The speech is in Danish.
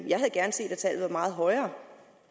jeg havde gerne set at tallet var meget højere